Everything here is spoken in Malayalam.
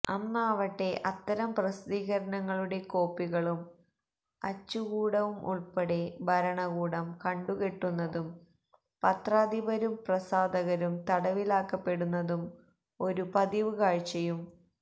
അന്നാവട്ടെ അത്തരം പ്രസിദ്ധീകരണങ്ങളുടെ കോപ്പികളും അച്ചുകൂടവും ഉൾപ്പെടെ ഭരണകൂടം കണ്ടുകെട്ടുന്നതും പത്രാധിപരും പ്രസാധകരും തടവിലാക്കപ്പെടുന്നതും ഒരു പതിവ് കാഴ്ചയും